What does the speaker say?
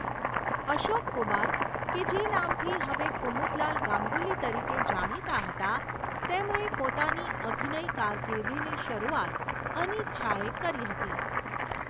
અશોક કુમાર, કે જે નામથી હવે કુમુદલાલ ગાંગુલી તરીકે જાણીતા હતા, તેમણે પોતાની અભિનય કારકીર્દિની શરૂઆત અનિચ્છાએ કરી હતી.